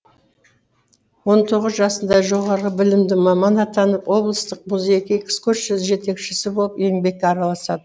он тоғыз жасында жоғары білімді маман атанып облыстық музейге экскурсия жетекшісі болып еңбекке араласады